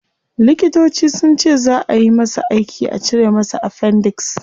Likitoci sunce zaa ayi masa aiki a cire masa appendix